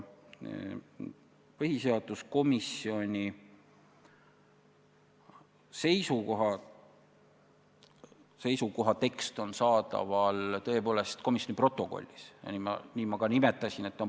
Põhiseaduskomisjoni seisukoha tekst on saadaval tõepoolest komisjoni protokollis ja nii ma ka ütlesin.